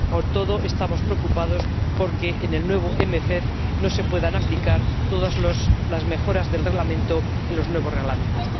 Con todo, estamos preocupados por que en el nuevo MFP no se puedan aplicar todas las mejoras del Reglamento en los nuevos Reglamentos.